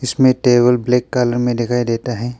इसमें table black colour में दिखाई देता है।